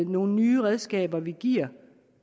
nogle nye redskaber vi giver